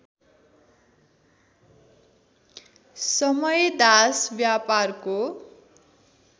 समय दास व्यापारको